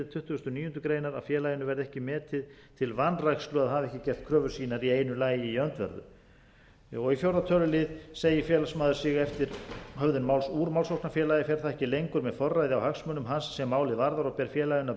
tuttugasta og níundu grein að félaginu verði ekki metið til vanrækslu að hafa ekki gert kröfur sínar í einu lagi í öndverðu í fjórða tölulið segi félagsmaður sig eftir höfðun máls úr málsóknarfélagi fer það ekki lengur með forræði á hagsmunum hans sem málið varðar og ber félaginu að